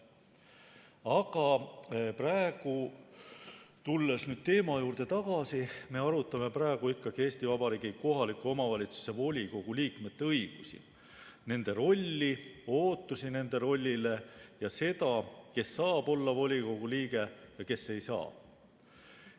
Aga praegu, tulles teema juurde tagasi, me arutame ikkagi Eesti Vabariigi kohaliku omavalitsuse volikogu liikmete õigusi, nende rolli, ootusi nende rollile ja seda, kes saab olla volikogu liige ja kes ei saa.